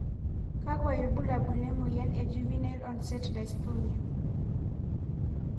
kakwa ibulabul le moyian e juvenile onset dystonia?